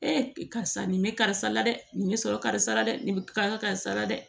karisa nin bɛ karisa la dɛ nin bɛ sɔrɔ karisa la dɛ nin bɛ karisa karisa la dɛ